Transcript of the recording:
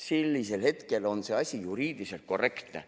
Sellisel hetkel on see asi juriidiliselt korrektne.